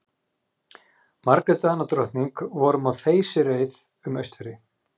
Margrét Danadrottning vorum á þeysireið um Austfirði.